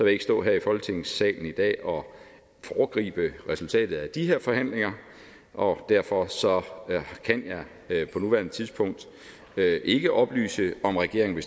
ikke stå her i folketingssalen i dag og foregribe resultatet af de her forhandlinger og derfor kan jeg på nuværende tidspunkt ikke oplyse om regeringen